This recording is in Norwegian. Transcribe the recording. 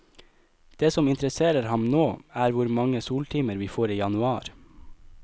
Det som interesserer ham nå, er hvor mange soltimer vi får i januar.